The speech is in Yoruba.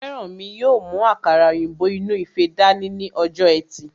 Fẹ́rànmi yóò mú àkàrà òyìnbó inú ife dání ní ọjọ́ ẹtì